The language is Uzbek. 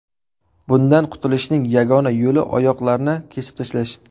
Bundan qutulishning yagona yo‘li oyoqlarni kesib tashlash.